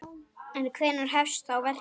En hvenær hefst þá verkið?